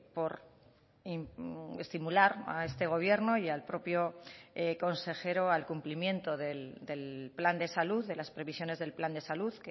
por estimular a este gobierno y al propio consejero al cumplimiento del plan de salud de las previsiones del plan de salud